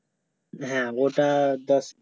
হ্যাঁ ওটা দশ